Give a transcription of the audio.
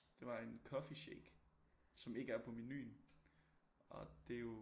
Det var en coffee shake som ikke er på menuen og det jo